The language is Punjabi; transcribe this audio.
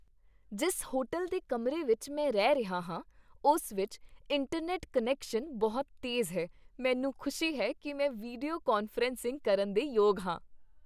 ਜਿਸ ਹੋਟਲ ਦੇ ਕਮਰੇ ਵਿੱਚ ਮੈਂ ਰਹਿ ਰਿਹਾ ਹਾਂ, ਉਸ ਵਿੱਚ ਇੰਟਰਨੈੱਟ ਕੁਨੈਕਸ਼ਨ ਬਹੁਤ ਤੇਜ਼ ਹੈ ਮੈਨੂੰ ਖੁਸ਼ੀ ਹੈ ਕਿ ਮੈਂ ਵੀਡੀਓ ਕਾਨਫਰੰਸਿੰਗ ਕਰਨ ਦੇ ਯੋਗ ਹਾਂ